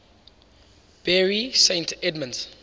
bury st edmunds